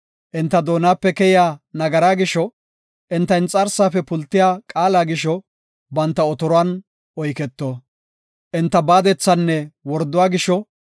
Enta doonape keyiya nagaraa gisho enta inxarsaafe pultiya qaala gisho, banta otoruwan oyketo; enta baadethanne worduwa gisho,